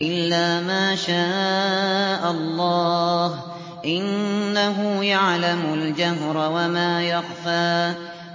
إِلَّا مَا شَاءَ اللَّهُ ۚ إِنَّهُ يَعْلَمُ الْجَهْرَ وَمَا يَخْفَىٰ